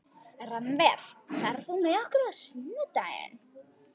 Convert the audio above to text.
Rannver, ferð þú með okkur á sunnudaginn?